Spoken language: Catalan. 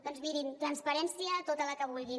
doncs mirin transparència tota la que vulguin